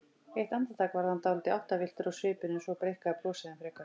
Eitt andartak varð hann dálítið áttavilltur á svipinn en svo breikkaði brosið enn frekar.